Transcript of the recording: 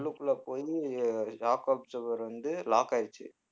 உள்ளுக்குள்ள போயி shock absorber வந்து lock ஆயிருச்சு